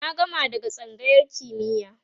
na gama daga tsangayar kimiya